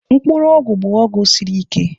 Mkpuru ogwu bụ ọgwụ siri ike.